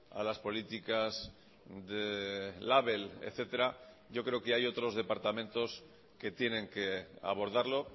a las políticas de label etcétera yo creo que hay otros departamentos que tienen que abordarlo